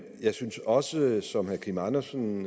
jeg synes også som herre kim andersen